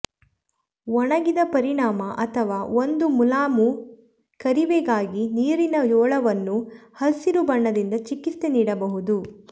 ಒಣಗಿದ ಪರಿಣಾಮ ಅಥವಾ ಒಂದು ಮುಲಾಮು ಕರವೇವೆಗಾಗಿ ನೀರಿನ ಜೋಳವನ್ನು ಹಸಿರು ಬಣ್ಣದಿಂದ ಚಿಕಿತ್ಸೆ ನೀಡಬಹುದು